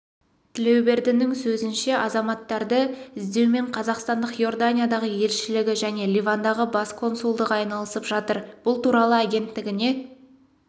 тілеубердінің сөзінше азаматтарды іздеумен қазақстанның иорданиядағы елшілігі және ливандағы бас консулдығы айналысып жатыр бұл туралы агенттігіне